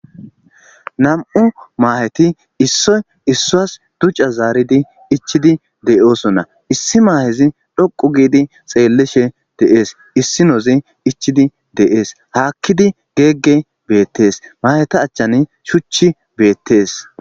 nam7u maaheti issoy issoas duca zaaridi ichidi deyoosonna issi maahezi dhoqu giidi xeellishe deees issinozi ichidi deees haakkidi geegge beettees maheta achchan shuchi beettees